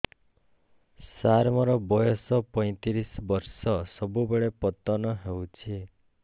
ସାର ମୋର ବୟସ ପୈତିରିଶ ବର୍ଷ ସବୁବେଳେ ପତନ ହେଉଛି